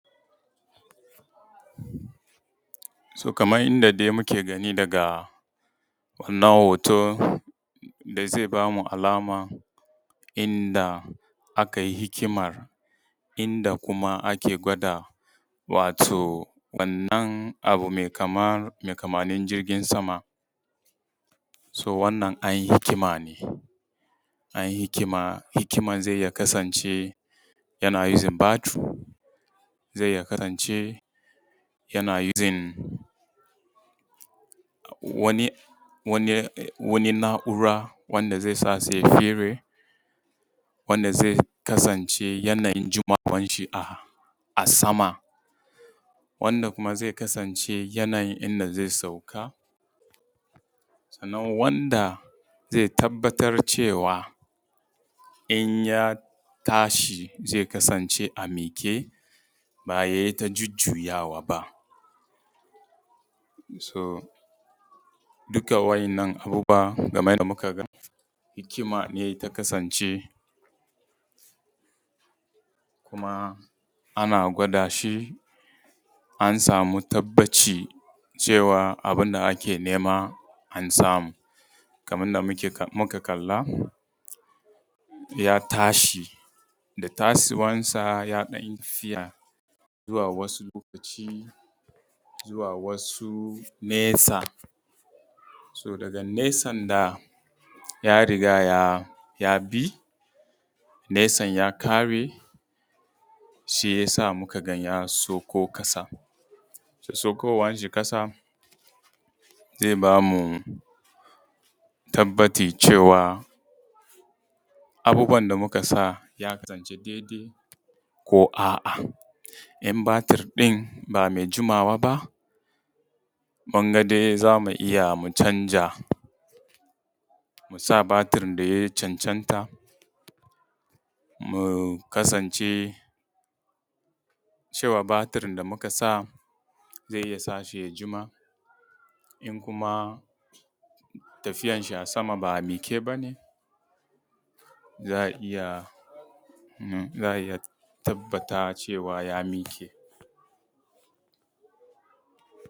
So kamar yanda dai muke gani daga wannan hoto da zai bamu alama inda akai hikima, inda ake gwada wato wannan abu mai kamanin jirgin sama. So wannan an yi hikima ne, an yi hikima, hikiman zai iya kasance yana using battery, zai iya kasance yana using wani na’ura wanda zai kasance yana yin jimawan shi a sama, wanda kuma zai kasance yanayin inda zai sauka, sannan wanda zai tabbatar cewa in ya tashi zai kasance a miƙe ba yai ta jujuyawa ba. So dukka wannan abu kamar yanda muke gani anan hikima ne ta kasance, kuma ana gwada shi an samu tabaci cewa abin da ake nema an samu. Kamar yanda muka kalla ya tashi da tashi wansa ya ɗan yi tafiya zuwa wasu lokaci, zuwa wasu nesa. So daga nesan nan ya riga ya bi nesan ya kare shi yasa muka ga ya sauko ƙasa. So saukowan shi ƙasa zai ba mu tabbacin cewa abubuwan da muka sa ya kasance dai dai ko a’a. In battery ɗin ba mai jimawa ba mun ga dai za mu iya mu canza mu sa battery da ya cancanta, mu kasance cewa battery da muka sa zai iya sa shi ya juma in kuma tafiya shi a sama ba a miƙe ba ne za a iya tabbata cewa ya miƙe.